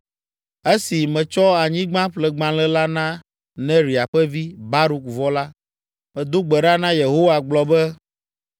“Esi metsɔ anyigbaƒlegbalẽ la na Neria ƒe vi, Baruk vɔ la, medo gbe ɖa na Yehowa gblɔ be: